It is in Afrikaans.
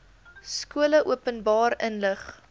skole openbare inligting